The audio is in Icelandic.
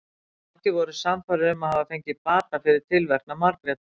Margir voru sannfærðir um að hafa fengið bata fyrir tilverknað Margrétar.